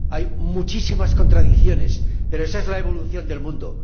hay muchísimas contradicciones, pero esa es la evolución del mundo.